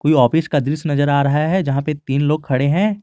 ये ऑफिस का दृश्य नजर आ रहा है जहां पे तीन लोग खड़े हैं।